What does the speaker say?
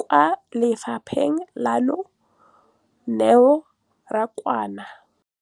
kwa lefapheng leno, Neo Rakwena,